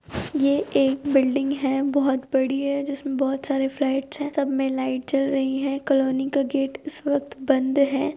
ये एक बिल्डिंग है। बहोत बड़ी है जिसमें बहोत सारे फ्लाइट्स हैं। सबमें लाईट जल रही है। कालोनी का गेट इस वक्त बंद है।